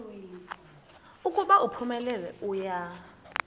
ukuba uphumelele uya